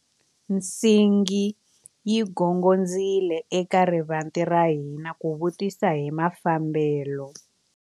Nsingi yi gongondzile eka rivanti ra hina ku vutisa hi mafambelo.